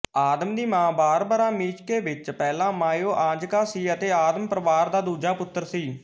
ਆਦਮ ਦੀ ਮਾਂ Barbara Mickiewicz ਪਹਿਲਾਂ ਮਾਯੂਆਂਜਕਾ ਸੀ ਅਤੇ ਆਦਮ ਪਰਿਵਾਰ ਦਾ ਦੂਜਾ ਪੁੱਤਰ ਸੀ